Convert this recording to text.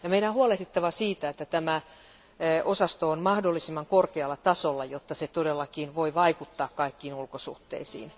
Meidän on huolehdittava siitä, että tämä osasto on mahdollisimman korkealla tasolla, jotta se todellakin voi vaikuttaa kaikkiin ulkosuhteisiin.